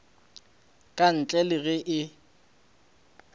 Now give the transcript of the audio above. ka ntle le ge e